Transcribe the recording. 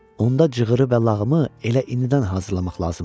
Onda cığırı və lağımı elə indidən hazırlamaq lazımdır.